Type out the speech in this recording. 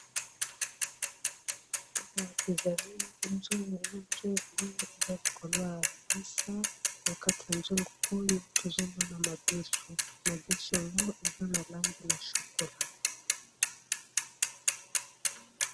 Awa ezali nzungu, nzungu yango eza likolo ya mesa na kati ya nzungu oyo tozo Mona madesu, madesu yango eza na langi ya chokola.